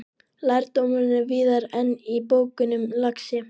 Lærdómurinn er víðar en í bókunum, lagsi.